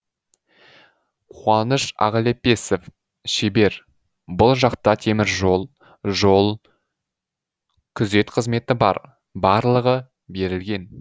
қуаныш ағлепесов шебер бұл жақта теміржол жол күзет қызметі бар барлығы берілген